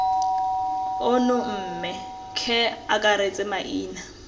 ono mme ce akaretse maina